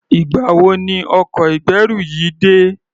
Ìgbà wo ni ọkọ̀ ìgbẹ́rù yìí dé?